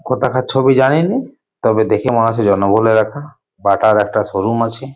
কোথাকার ছবি জানিনি তবে দেখে মনে হচ্ছে জনবহুল এলাকা । বাটার একটা শোরুম আছে।